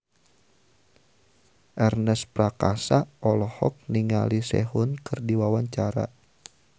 Ernest Prakasa olohok ningali Sehun keur diwawancara